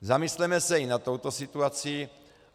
Zamysleme se i nad touto situací.